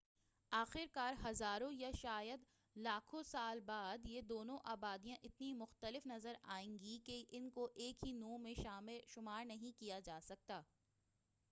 آخر کار ہزاروں یا شاید لاکھوں سال بعد یہ دونوں آبادیاں اتنی مختلف نظر آئیں گی کہ ان کو ایک ہی نوع میں شمار نہیں کیا جاسکتا